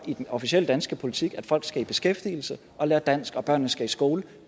i den officielle danske politik om at folk skal i beskæftigelse og lære dansk og børnene skal i skole